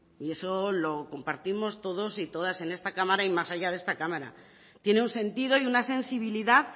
y eso lo compartimos todos y todas en esta cámara y más allá de esta cámara tiene un sentido y una sensibilidad